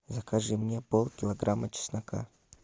закажи мне пол килограмма чеснока